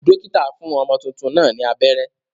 Dókítà fún ọmọ tuntun náà ni abẹ́rẹ́.